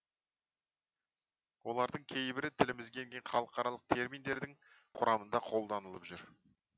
олардың кейбірі тілімізге енген халықаралық терминдердің құрамында қолданылып жүр